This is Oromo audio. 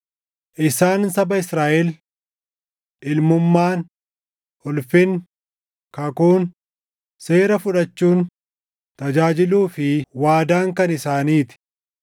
isaan saba Israaʼel. Ilmummaan, ulfinni, kakuun, seera fudhachuun, tajaajiluu fi waadaan kan isaanii ti.